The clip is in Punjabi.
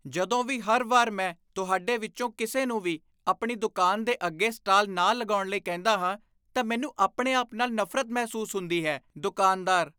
ਜਦੋਂ ਵੀ ਹਰ ਵਾਰ ਮੈਂ ਤੁਹਾਡੇ ਵਿੱਚੋਂ ਕਿਸੇ ਨੂੰ ਵੀ ਆਪਣੀ ਦੁਕਾਨ ਦੇ ਅੱਗੇ ਸਟਾਲ ਨਾ ਲਗਾਉਣ ਲਈ ਕਹਿੰਦਾ ਹਾਂ, ਤਾਂ ਮੈਨੂੰ ਆਪਣੇ ਆਪ ਨਾਲ ਨਫ਼ਰਤ ਮਹਿਸੂਸ ਹੁੰਦੀ ਹੈ ਦੁਕਾਨਦਾਰ